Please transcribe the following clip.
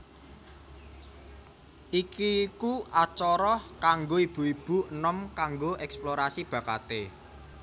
Iki iku acara kanggo ibu ibu enom kanggo eksplorasi bakaté